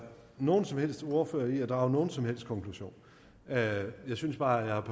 nogen som helst ordfører i at drage nogen som helst konklusion jeg synes bare at jeg